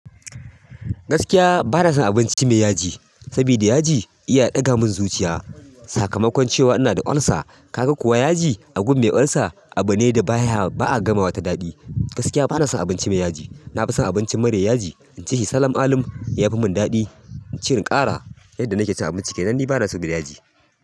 Gaskiya bana son abinci mai yaji, sabida yaji iya ɗaga min zuciya. Sakamakon cewa ina da olsa, ka ga kuwa yaji a gun mai olsa abu ne da baya, ba a gamawa ta daɗi. Gaskiya bana son abinci mai yaji. Na fi son abincin mara yaji, in ci shi salaman alum, ya fi min daɗi. In ci in ƙara. Yadda nake cin abinci, kenam ni bana so da yaji.